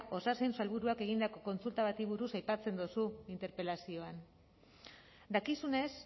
osasun sailburuak egindako kontsulta bati buruz aipatzen duzu interpelazioan dakizunez